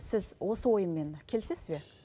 сіз осы ойыммен келісесіз бе